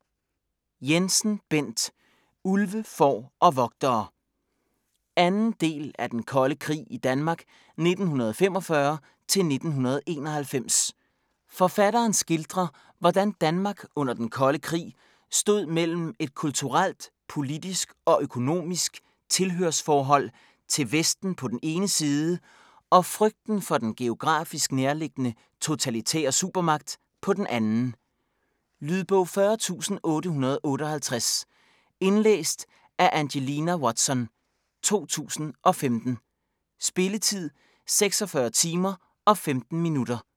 Jensen, Bent: Ulve, får og vogtere 2. del af Den Kolde Krig i Danmark 1945-1991. Forfatteren skildrer, hvordan Danmark under Den Kolde Krig stod mellem et kulturelt, politisk og økonomisk tilhørsforhold til Vesten på den ene side og frygten for den geografisk nærliggende totalitære supermagt på den anden. Lydbog 40858 Indlæst af Angelina Watson, 2015. Spilletid: 46 timer, 15 minutter.